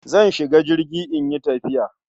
Zan shiga jirgi in yi tafiya.